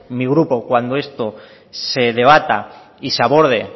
mi grupo cuando esto se debata y se aborde